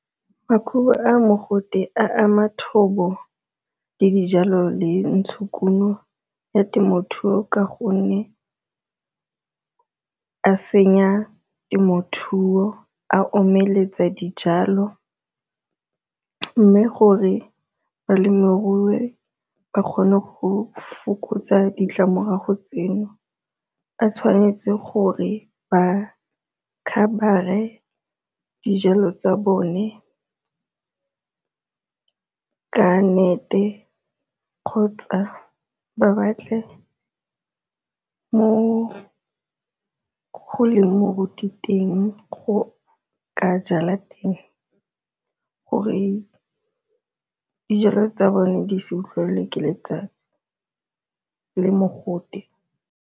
Makhubu a mogote a ama thobo le dijalo le ntshokuno ya temothuo ka gonne a senya temothuo a omeletsa dijalo, mme gore balemirui ba kgone go fokotsa ditlamorago tseno a tshwanetse gore ba cover-e dijalo tsa bone ka net-e kgotsa ba batle mo go leng moruti teng go ka jala teng gore dijalo tsa bone di se utlwelele ke letsatsi le mogote.